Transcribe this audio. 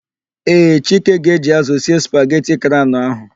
Ee, Chike ga-eji ázụ̀ sie spageti craụn ahụ.